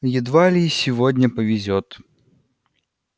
едва ли и сегодня повезёт